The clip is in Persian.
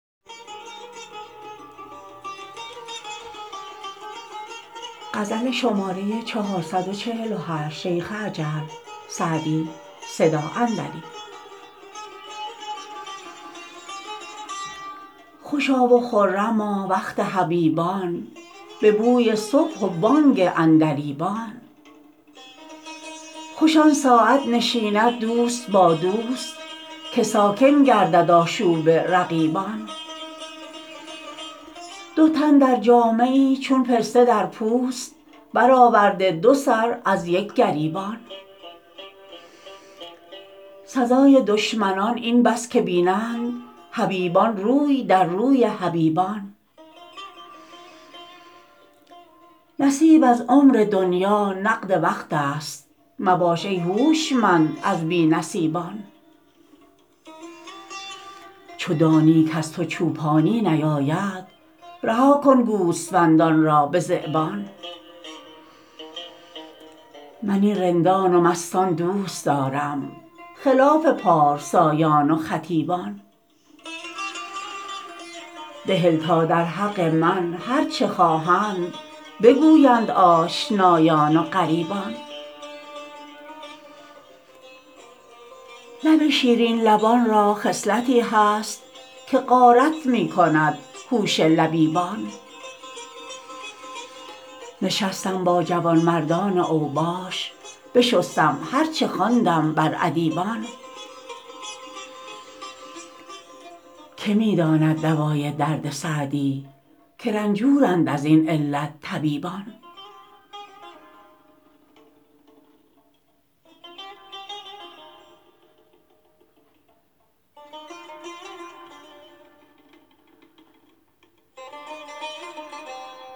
خوشا و خرما وقت حبیبان به بوی صبح و بانگ عندلیبان خوش آن ساعت نشیند دوست با دوست که ساکن گردد آشوب رقیبان دو تن در جامه ای چون پسته در پوست برآورده دو سر از یک گریبان سزای دشمنان این بس که بینند حبیبان روی در روی حبیبان نصیب از عمر دنیا نقد وقت است مباش ای هوشمند از بی نصیبان چو دانی کز تو چوپانی نیاید رها کن گوسفندان را به ذیبان من این رندان و مستان دوست دارم خلاف پارسایان و خطیبان بهل تا در حق من هر چه خواهند بگویند آشنایان و غریبان لب شیرین لبان را خصلتی هست که غارت می کند هوش لبیبان نشستم با جوانمردان اوباش بشستم هر چه خواندم بر ادیبان که می داند دوای درد سعدی که رنجورند از این علت طبیبان